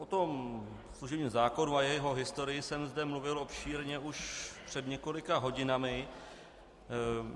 O tom služebním zákonu a jeho historii jsem zde mluvil obšírně už před několika hodinami.